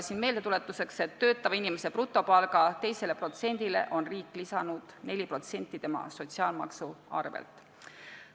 Meeldetuletuseks: töötava inimese brutopalga 2%-le on ju riik lisanud 4% inimese sotsiaalmaksu arvelt.